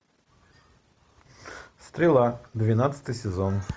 стрела двенадцатый сезон